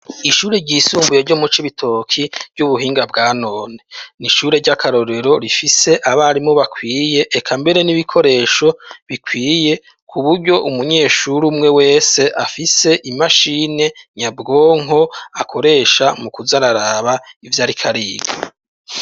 Ishure ryisumbuye ryo mucibitoki ry'ubuhinga bwa none, nishure ry'akarorero rifise abarimu bakwiye, eka mbere n'ibikoresho bikwiye kuburyo umunyeshuri umwe wese afise imashine nyabwonko, akoresha mukuz'araraba ivy'arikariga.